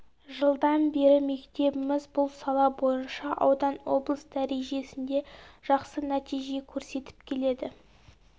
жылдан бері мектебіміз бұл сала бойынша аудан облыс дәрежесінде жақсы нәтиже көрсетіп келеді